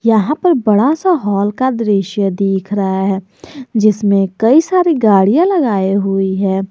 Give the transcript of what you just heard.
यहां पर बड़ा सा हॉल का दृश्य दिख रहा है जिसमें कई सारी गाड़ियां लगाई हुई है।